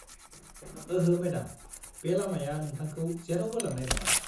ओहो, मेडाम। बे लामाया नोंथांखौ जेरावबो लांनाय नङा।